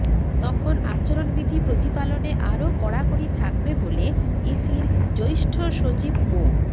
তখন আচরণবিধি প্রতিপালনে আরও কড়াকড়ি থাকবে বলে ইসির জ্যেষ্ঠ সচিব মো